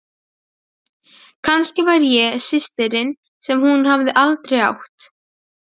Hún var sármóðguð þegar þau renndu heim að Bakka.